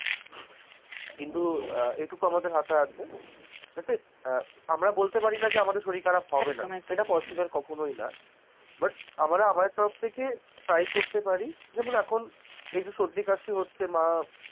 কিন্তু আহ এইটুকু আমাদের হাতে আছে যাতে আমরা বলতে পারি না যে আমাদের শরীর খারাপ হবে না, একদম একদম সেটা possible কখনোই না but আমরা আমাদের তরফ থেকে try করতে পারি, যেমন এখন আজ এই জো হচ্ছে মা.